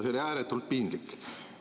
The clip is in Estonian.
See oli ääretult piinlik.